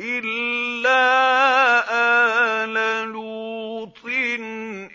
إِلَّا آلَ لُوطٍ